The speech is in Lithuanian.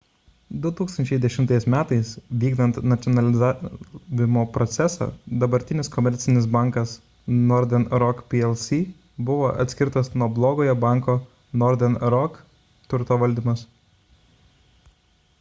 2010 m. vykdant nacionalizavimo procesą dabartinis komercinis bankas northern rock plc buvo atskirtas nuo blogojo banko northern rock turto valdymas